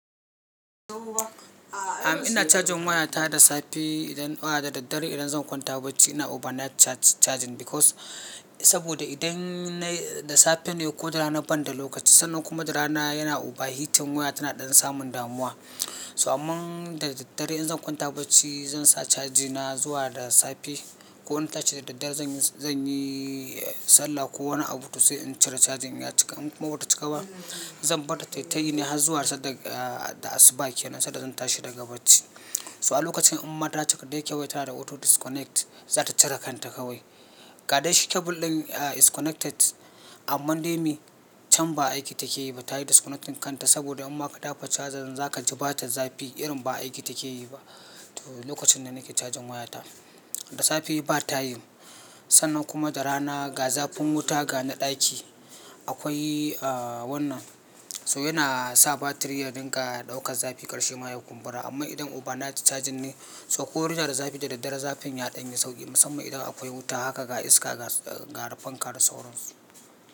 Am ina cajin waya ta da safe idan fa da daddare idan zan kwanta barci ina overnight charging because saboda idan da safe ne ko da rana banda lokaci sannan kuma da rana yana over heating waya tana ɗan samun damuwa. So amma da daddare idan zan kwanta barci zan sa cajina zuwa da safe. Ko in tashi da daddare zan yi sallah ko wani abu to sai in cire cajin ya cika in kuma bata cika ba zan barta tayi ne har zuwa sadda da asuba kenan sadda zan tashi daga barci. So a lokacin in ma ta cika dai wayan tana da auto disconnect za ta cire kanta kawai. Ga dai shi cable ɗin is connected amma dai mai can ba aiki take yi ba tayi disconnect kanta saboda in ma ka taba chajan za ka ji bata zafi irin ba aiki take yi ba. To lokacin da nake cajin waya ta. Da safe ba ta yi sannan kuma da rana ga zafin wuta ga na ɗaki akwai wannan so yana sa battery ya dinga ɗaukan zafi karshe ma ya kumbura amma idan overnight charging ne so ko room na da zafi da daddare zafin ya ɗan yi sauƙi musamman idan akwai wuta haka ga iska ga rufe kar da saurin.